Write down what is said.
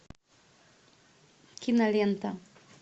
кинолента